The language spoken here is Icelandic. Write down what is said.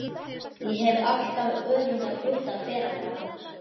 Ég hef alltaf öfundað Gutta ferlega.